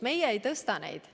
Meie ei tõsta neid.